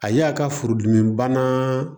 A y'a ka furudimibana